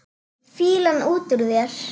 Fýlan út úr þér!